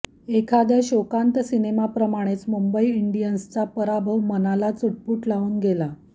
एखाद्या शोकान्त सिनेमाप्रमाणेच मुंबई इंडियन्सचा पराभव मनाला चुटपूट लावून गेला